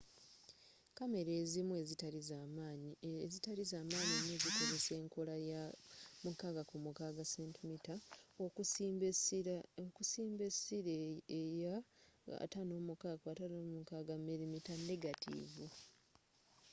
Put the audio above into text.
kamera ezimu ezitali zamayi nyo zikozesa enkola ya 6 ku 6 cm okusimba esila eya 56 ku 56 mm negatiivu